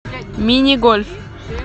мини гольф